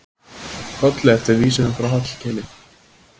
Kolli eftir vísunum frá Hallkeli.